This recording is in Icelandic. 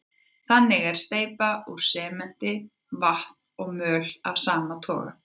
Þannig er steypa úr sementi, vatni og möl af sama toga.